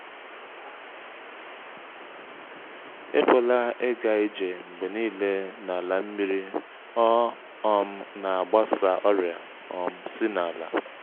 ekwela ịga ije mgbe niile n’ala nmiri ọ um na-agbasa ọrịa um si na’ala.